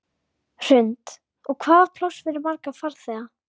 Hrund: Og hvað var pláss fyrir marga farþega?